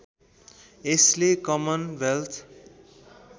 यसले common wealth